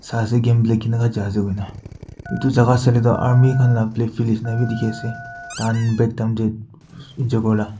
game khele Bina koi na etu jagah saile toh army khan laga black field jisna bhi dekhi ase tan back tang tu niche kori la.